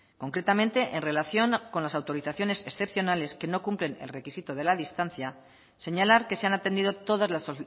concretamente en relación con las autorizaciones excepcionales que no cumplen el requisito de la distancia señalar que se han atendido todas las